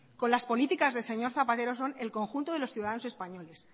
con las políticas del señor zapatero son el conjunto de los ciudadanos españoles